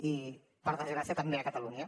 i per desgràcia també a catalunya